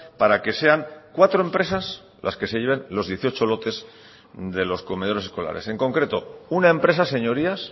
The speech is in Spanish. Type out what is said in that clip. para que sean cuatro empresas las que se lleven los dieciocho lotes de los comedores escolares en concreto una empresa señorías